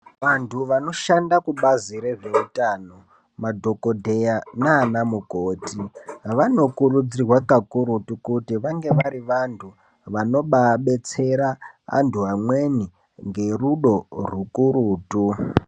Vantu vanoshanda kubazi rezveutano madhokodheya nanamukoti vanokurudzirwa kakurutu kuti vange vari vantu vanobadetsera antu amweni ngerudo rukurutu.